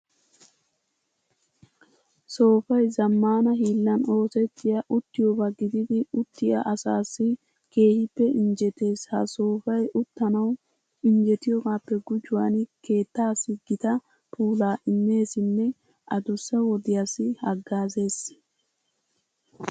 Soofay zammaana hiillan oosettiya uttiyoba gididi uttiya asaassi keehippe injjetees. Ha soofay uttanawu injjetiyogaappe gujuwan keettaassi gita puulaa immeesinne adussa wodiyassi haggaazees.